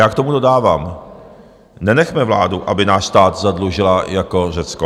Já k tomu dodávám: nenechme vládu, aby náš stát zadlužila jako Řecko.